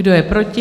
Kdo je proti?